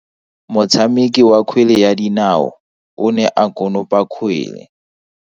Motshameki wa kgwele ya dinao o ne a konopa kgwele.